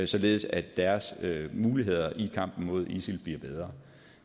således at deres muligheder i kampen mod isil bliver bedre